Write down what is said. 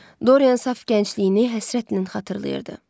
Doryan saf gəncliyini həsrətlə xatırlayırdı.